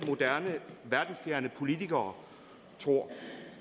moderne verdensfjerne politikere tror